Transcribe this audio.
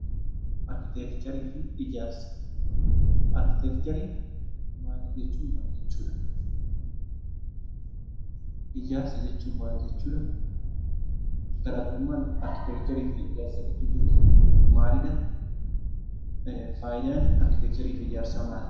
Arkiteekcharii jechuun maal jechuudha? Ijaarsa jechuun maal jechuudha? Garaa garummaan arkiteekcharii fi ijaarsa gidduu jiru maali? Faayidaan arkiteekcharii fi ijaarsa maali?